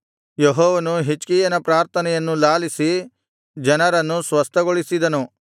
ಯೆಹೋವನು ಹಿಜ್ಕೀಯನ ಪ್ರಾರ್ಥನೆಯನ್ನು ಲಾಲಿಸಿ ಜನರನ್ನು ಸ್ವಸ್ಥಗೊಳಿಸಿದನು